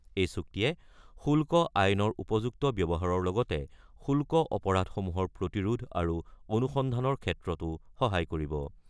এই চুক্তিয়ে শুল্ক আইনৰ উপযুক্ত ব্যৱহাৰৰ লগতে শুল্ক অপৰাধসমূহৰ প্ৰতিৰোধ আৰু অনুসন্ধানৰ ক্ষেত্ৰতো সহায় কৰিব।